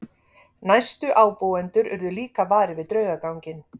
Næstu ábúendur urðu líka varir við draugaganginn.